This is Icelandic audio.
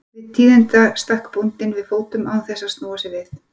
Við þau tíðindi stakk bóndi við fótum án þess að snúa sér við.